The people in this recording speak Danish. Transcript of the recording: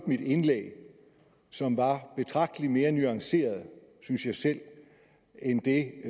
mit indlæg som var betragtelig mere nuanceret synes jeg selv end det